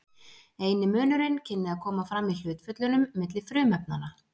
eini munurinn kynni að koma fram í hlutföllunum milli frumefnanna